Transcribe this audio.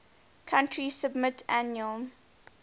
country submit annual